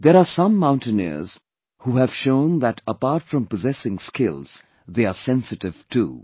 There are some mountaineers who have shown that apart from possessing skills, they are sensitive too